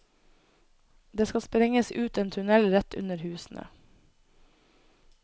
Det skal sprenges ut en tunnel rett under husene.